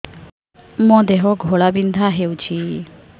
ମୋ ଦେହ ଘୋଳାବିନ୍ଧା ହେଉଛି